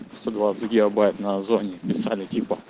сто двадцать гигабайт на озоне писали типа